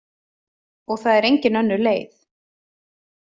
Og það er engin önnur leið.